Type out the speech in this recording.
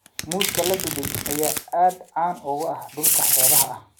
Muuska la dubay ayaa aad caan uga ah dhulka xeebaha ah.